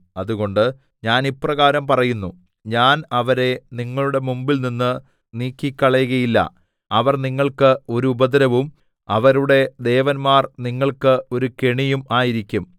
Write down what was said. അതുകൊണ്ട് ഞാൻ ഇപ്രകാരം പറയുന്നു ഞാൻ അവരെ നിങ്ങളുടെ മുമ്പിൽനിന്ന് നീക്കിക്കളകയില്ല അവർ നിങ്ങൾക്ക് ഒരു ഉപദ്രവവും അവരുടെ ദേവന്മാർനിങ്ങൾക്ക് ഒരു കെണിയും ആയിരിക്കും